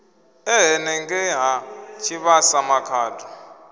e henengei ha tshivhasa makhado